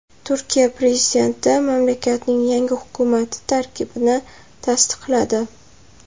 Turkiya prezidenti mamlakatning yangi hukumati tarkibini tasdiqladi .